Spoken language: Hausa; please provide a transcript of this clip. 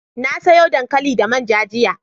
na soya dankali da manja jiya